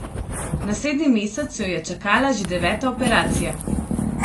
Naslednji mesec jo je čakala že deveta operacija.